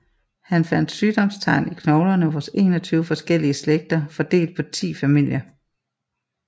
Han fandt sygdomstegn i knoglerne hos 21 forskellige slægter fordelt på 10 familier